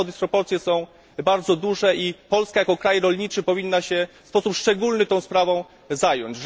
Wiadomo, że dysproporcje są bardzo duże i Polska jako kraj rolniczy powinna się w sposób szczególny tą sprawą zająć.